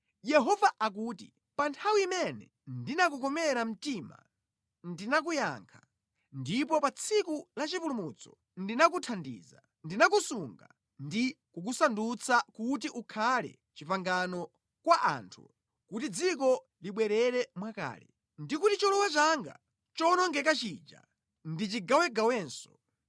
Yehova akuti, “Pa nthawi imene ndinakukomera mtima ndinakuyankha, ndipo pa tsiku lachipulumutso ndinakuthandiza; ndinakusunga ndi kukusandutsa kuti ukhale pangano kwa anthu, kuti dziko libwerere mwakale ndi kuti cholowa changa chowonongeka chija ndichigawegawenso.